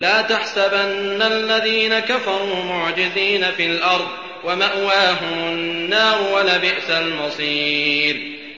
لَا تَحْسَبَنَّ الَّذِينَ كَفَرُوا مُعْجِزِينَ فِي الْأَرْضِ ۚ وَمَأْوَاهُمُ النَّارُ ۖ وَلَبِئْسَ الْمَصِيرُ